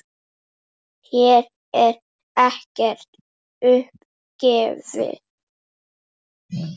Hér er ekkert upp gefið.